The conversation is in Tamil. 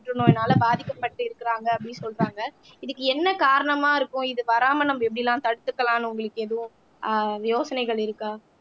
புற்றுநோயினால பாதிக்கப்பட்டு இருக்கிறாங்க அப்படின்னு சொல்றாங்க இதுக்கு என்ன காரணமா இருக்கும் இது வராம நம்ம எப்படி எல்லாம் தடுத்துக்கலாம்ன்னு உங்களுக்கு எதுவும் ஆஹ் யோசனைகள் இருக்கா